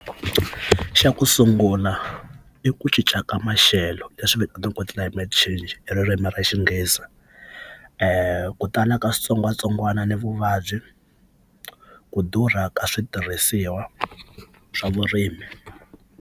Xa ku sungula i ku cinca ka maxelo leswi vitaniwaka climate change hi ririmi ra xinghezi kutala ka switsongwatsongwana na vuvabyi ku durha ka switirhisiwa swa vurimi.